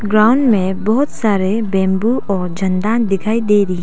ground में बहुत सारे बैम्बू और झंडा दिखाई दे रही--